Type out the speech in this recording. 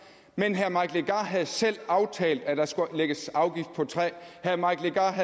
men herre mike legarth havde selv aftalt at der skulle lægges afgift på træ herre mike legarth